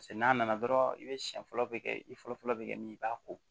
Paseke n'a nana dɔrɔn i bɛ siɲɛ fɔlɔ bɛ kɛ i fɔlɔfɔlɔ bɛ kɛ min ye i b'a ko